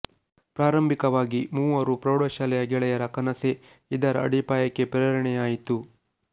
ಪ್ರಾರಂಭಿಕವಾಗಿ ಮೂವರು ಪ್ರೌಢಶಾಲೆಯ ಗೆಳೆಯರ ಕನಸೇ ಇದರ ಅಡಿಪಾಯಕ್ಕೆ ಪ್ರೇರಣೆಯಾಯಿತು